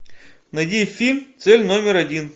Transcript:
найди фильм цель номер один